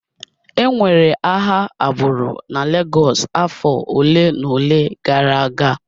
E nwere agha agbụrụ na Lagos afọ ole na ole gara aga.